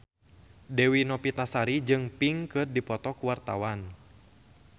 Dewi Novitasari jeung Pink keur dipoto ku wartawan